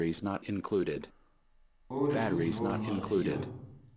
otte tusind otte hundrede og fire